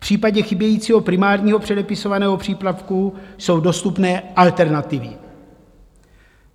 V případě chybějícího primárního předepisovaného přípravku jsou dostupné alternativy.